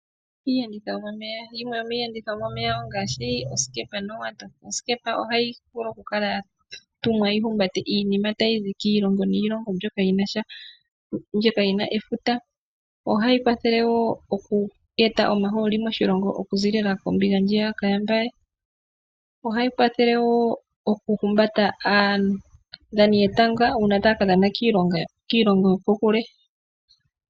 Iiyenditho yomomeya Yimwe yomiiyenditho yomomeya ongaashi osikepa nowato. Osikepa ohayi vulu okukala ya tumwa yi humbate iinima tayi zi kiilongo niilongo mbyoka yi na efuta. Ohayi kwathele wo oku eta omahooli moshilongo okuziilila kombinga ndjiya ka yaMbaye. Ohayi kwathele wo okuhumbata aadhani yetanga uuna taya ka dhana kiilongo yokokule.